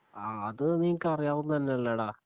ആ അത് നിനക്ക് അറിയാവുന്നെ തന്നെയല്ലേടാ